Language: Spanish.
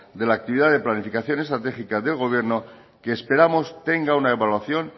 de la actividad de planificación estratégica del gobierno que esperamos tenga una evaluación